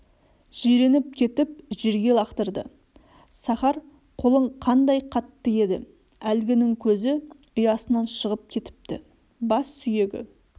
жиреніп кетіп жерге лақтырды сахар қолың қандай қатты еді әлгінің көзі ұясынан шығып кетіпті бас сүйегі